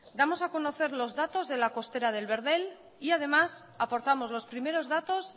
damos a conocer los datos de la costera del verdel y además aportamos los primeros datos